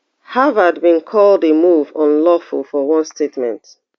harvard bin call di move unlawful for one statement